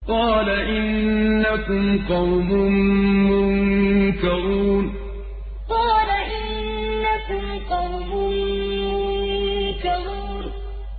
قَالَ إِنَّكُمْ قَوْمٌ مُّنكَرُونَ قَالَ إِنَّكُمْ قَوْمٌ مُّنكَرُونَ